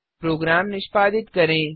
programme निष्पादित करें